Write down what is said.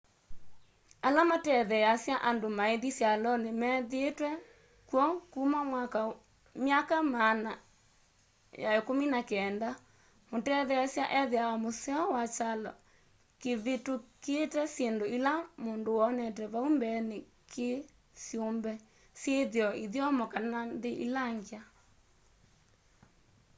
ala matetheasya andu maithi syaloni methiitwe kw'o kuma myaka maana ya 19 mutetheesya ethiawa museo kwa kyalo kivitukite syindu ila mundu wonete vau mbeeni ki syumbe syithio ithyomo kana nthi ila ngya